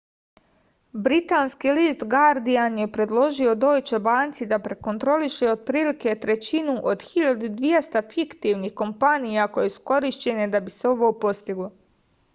britanski list gardijan je predložio dojče banci da prekontroliše otprilike trećinu od 1200 fiktivnih kompanija koje su korišćene da bi se ovo postiglo